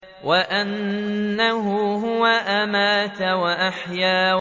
وَأَنَّهُ هُوَ أَمَاتَ وَأَحْيَا